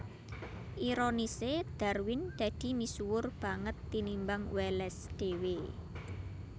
Ironisé Darwin dadi misuwur banget tinimbang Wallace dhéwé